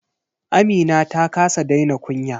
Amina ta kasa daina kunya.